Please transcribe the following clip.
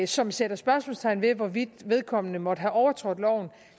som sætter spørgsmålstegn ved hvorvidt vedkommende måtte have overtrådt loven